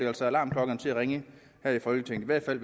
altså alarmklokkerne til at ringe her i folketinget i hvert fald